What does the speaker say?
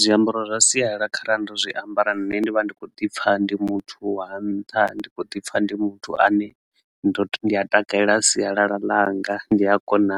Zwiambaro zwa sialala kharali ndo zwiambara nṋe ndivha ndikho ḓipfha ndi muthu wa nṱha ndi kho ḓipfha ndi muthu ane ndo ndi a takalela sialala langa ndi a kona